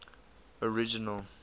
original